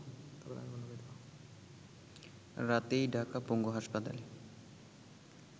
রাতেই ঢাকা পঙ্গু হাসপাতালে